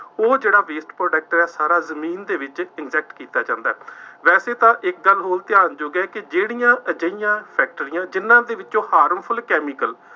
ਉਹ ਜਿਹੜਾ waste product ਹੈ, ਸਾਰਾ ਜ਼ਮੀਨ ਦੇ ਵਿੱਚ inject ਕੀਤਾ ਕਰਦਾ, ਵੈਸੇ ਤਾਂ ਇੱਕ ਗੱਲ ਹੋਰ ਧਿਆਨ ਯੋਗ ਹੈ ਕਿ ਜਿਹੜੀਆਂ ਅਜਿਹੀਆਂ ਫੈਕਟਰੀਆਂ, ਜਿੰਨ੍ਹਾ ਦੇ ਵਿੱਚੋਂ harmful chemical